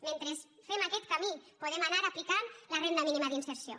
mentre fem aquest camí podem anar aplicant la renda mínima d’inserció